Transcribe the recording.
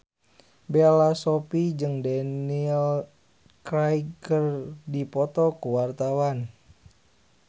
Bella Shofie jeung Daniel Craig keur dipoto ku wartawan